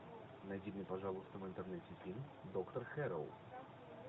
найди мне пожалуйста в интернете фильм доктор хэрроу